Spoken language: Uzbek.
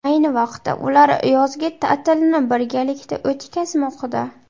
Ayni vaqtda ular yozgi ta’tilni birgalikda o‘tkazmoqda.